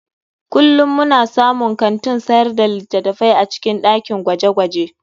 Kullum muna samun kantin sayar da littattafai a cikin dakin gwaje-gwaje.